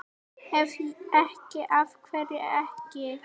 Ef ekki, AF HVERJU EKKI?